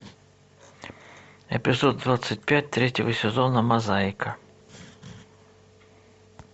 эпизод двадцать пять третьего сезона мозаика